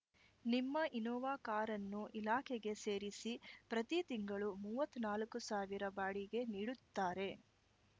ನಿಮ್ಮ ಇನ್ನೋವಾ ಕಾರನ್ನು ಇಲಾಖೆಗೆ ಸೇರಿಸಿ ಪ್ರತಿ ತಿಂಗಳು ಮೂವತ್ತ್ ನಾಲ್ಕು ಸಾವಿರ ಬಾಡಿಗೆ ನೀಡುತ್ತಾರೆ